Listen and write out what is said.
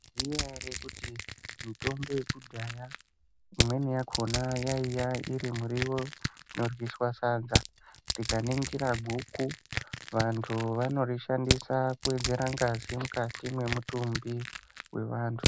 Maiziya ere kuti mitombo yekudhaya imweni yakhona yaiya irimuriwo inoryiswa sadza tikaningira guku vantu vanorishandisa kuwedzera ngazi mukati mwemutumbi wevantu.